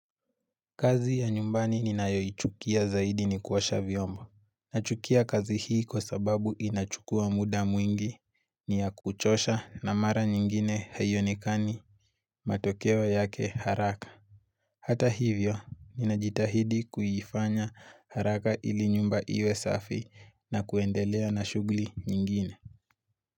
Kazi ya nyumbani ninayoichukia zaidi ni kuosha vyombo. Nachukia kazi hii kwa sababu inachukua muda mwingi ni ya kuchosha na mara nyingine haio nekani matokeo yake haraka. Hata hivyo, ninajitahidi kuifanya haraka ili nyumba iwe safi na kuendelea na shugli nyingine.